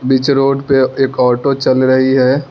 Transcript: बीच road पे एक auto चल रही है।